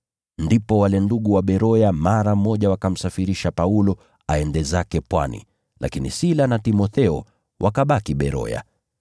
Mara hiyo, wale ndugu wakamsafirisha Paulo hadi pwani, lakini Sila na Timotheo wakabaki Beroya.